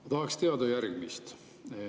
Ma tahaksin teada järgmist.